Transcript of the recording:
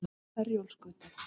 Herjólfsgötu